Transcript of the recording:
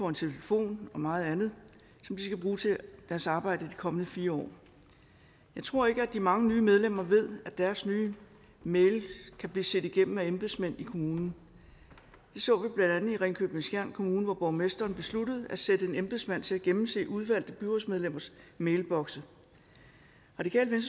en telefon og meget andet som de skal bruge til deres arbejde i de kommende fire år jeg tror ikke at de mange nye medlemmer ved at deres nye mails kan blive set igennem af embedsmænd i kommunen det så vi blandt andet i ringkøbing skjern kommune hvor borgmesteren besluttede at sætte en embedsmand til at gennemse udvalgte byrådsmedlemmers mailbokse radikale